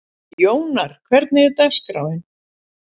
Jónar, hvernig er dagskráin?